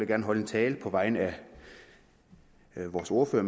gerne holde en tale på vegne af vores ordfører